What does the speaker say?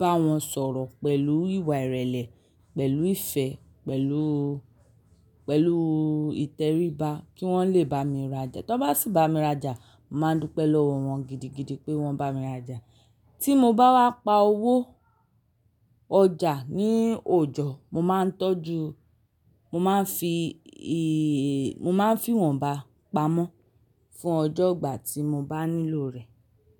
bá wọn sọ̀rọ̀ pẹ̀lú ìwà ìrẹ̀lẹ̀, pẹ̀lú ìfẹ́, pẹ̀lú, pẹ̀lú ìtẹríba kí wọ́n lè bá mi rajà. Tọ bá sì bá mi rajà, mo máa ń dúpẹ́ lọ́wọ́ wọn gidigidi pé wọ́n bá mi rajà. Tí mo bá wá pa owó ọjà ní òjọ, mo máa ń tọ́jú-- mo máa ń fi ì-- mo máa ń fi wọ́n bá pamọ́ fún ọjọ́ ìgbà tí mo bá nílò rẹ̀.